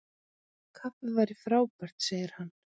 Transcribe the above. Kaffi væri frábært- sagði hann.